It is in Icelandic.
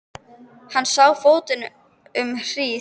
Hann sá á fótinn um hríð.